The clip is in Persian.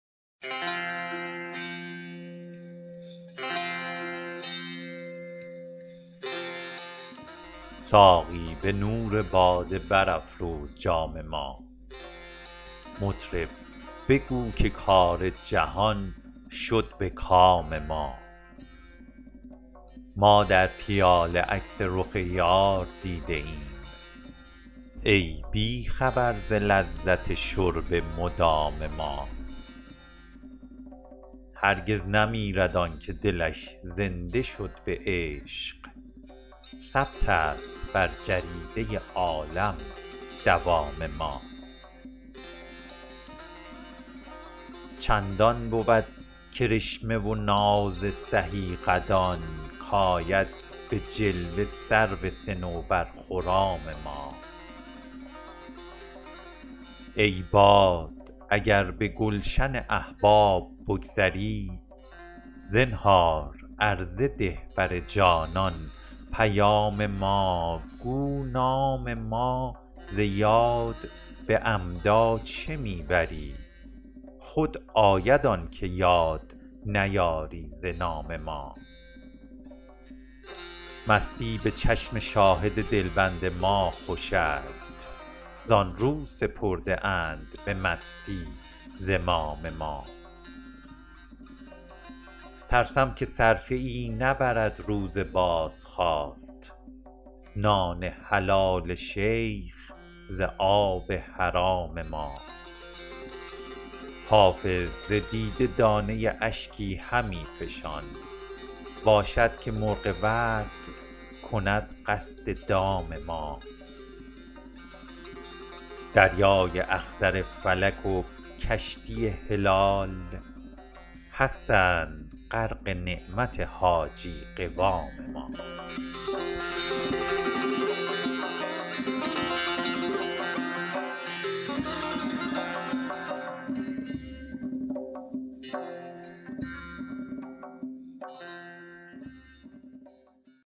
ساقی به نور باده برافروز جام ما مطرب بگو که کار جهان شد به کام ما ما در پیاله عکس رخ یار دیده ایم ای بی خبر ز لذت شرب مدام ما هرگز نمیرد آن که دلش زنده شد به عشق ثبت است بر جریده عالم دوام ما چندان بود کرشمه و ناز سهی قدان کآید به جلوه سرو صنوبرخرام ما ای باد اگر به گلشن احباب بگذری زنهار عرضه ده بر جانان پیام ما گو نام ما ز یاد به عمدا چه می بری خود آید آن که یاد نیاری ز نام ما مستی به چشم شاهد دلبند ما خوش است زآن رو سپرده اند به مستی زمام ما ترسم که صرفه ای نبرد روز بازخواست نان حلال شیخ ز آب حرام ما حافظ ز دیده دانه اشکی همی فشان باشد که مرغ وصل کند قصد دام ما دریای اخضر فلک و کشتی هلال هستند غرق نعمت حاجی قوام ما